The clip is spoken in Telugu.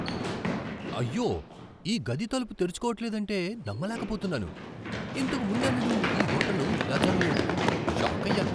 అయ్యో, ఈ గది తలుపు తెరుచుకోవట్లేదంటే నమ్మలేకపోతున్నాను! ఇంతకు ముందెన్నడూ ఈ హోటల్లో ఇలా జరగలేదు. షాకయ్యాను!